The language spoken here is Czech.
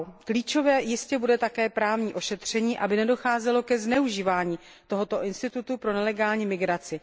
Klíčové jistě bude také právní ošetření, aby nedocházelo ke zneužívání tohoto institutu pro nelegální migraci.